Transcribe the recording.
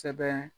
Sɛbɛn